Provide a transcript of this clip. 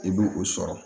I bi o sɔrɔ